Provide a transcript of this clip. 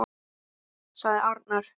sagði arnar.